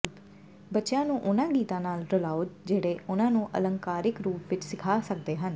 ਬੱਚਿਆਂ ਨੂੰ ਉਹਨਾਂ ਗੀਤਾਂ ਨਾਲ ਰਲਾਓ ਜਿਹੜੇ ਉਨ੍ਹਾਂ ਨੂੰ ਅਲੰਕਾਰਿਕ ਰੂਪ ਵਿਚ ਸਿਖਾ ਸਕਦੇ ਹਨ